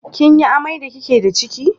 Kin yi amai da ki ke da ciki?